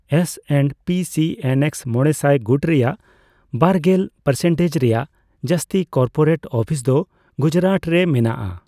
S and P C N X ᱢᱚᱲᱮᱥᱟᱭ ᱜᱩᱴ ᱨᱮᱭᱟᱜ ᱵᱟᱨᱜᱮᱞ ᱯᱟᱨᱥᱮᱱᱴᱮᱡᱽ ᱨᱮᱭᱟᱜ ᱡᱟᱹᱥᱛᱤ ᱠᱚᱨᱯᱚᱨᱮᱴ ᱚᱯᱷᱤᱥ ᱫᱚ ᱜᱩᱡᱨᱟᱴ ᱨᱮ ᱢᱮᱱᱟᱜᱼᱟ ᱾